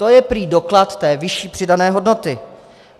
To je prý doklad té vyšší přidané hodnoty.